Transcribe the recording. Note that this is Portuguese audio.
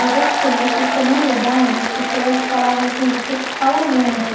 Eu gostei porque, na verdade, as pessoas falavam assim, você fala muito.